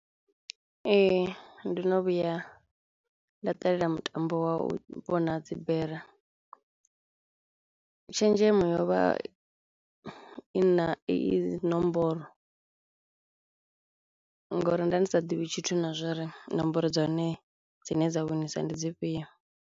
Ee ndo no vhuya nda ṱalela mutambo wa u vhona dzibere. Tshenzhemo yo vha i na iyi nomboro ngauri nda ndi sa ḓivhi tshithu na zwouri nomboro dza hone dzine dza winisa ndi dzi fhio.